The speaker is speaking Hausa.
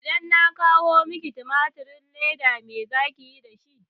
Idan na kawo miki timatirin leda me zaki yi dashi?